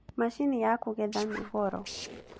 Mashini ya kũgetha nĩ goro